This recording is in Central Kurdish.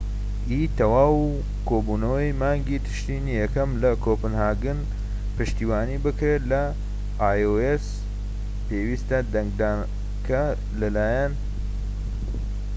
پێویستە دەنگدانەکە لە لایەن iocی تەواو و کۆبوونەوەی مانگی تشرینی یەکەم لە کۆپنهاگن پشتیوانی بکرێت